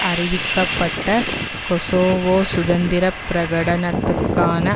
அறிவிக்கப்பட்ட கொசோவோ சுதந்திர பிரகடனத்துக்கான